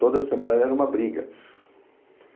Toda semana era uma briga.